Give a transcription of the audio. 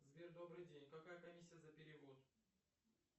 сбер добрый день какая комиссия за перевод